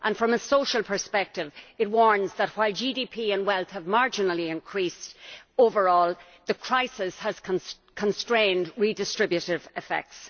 From a social perspective it warns that, while GDP and wealth have marginally increased overall, the crisis has constrained redistributive effects.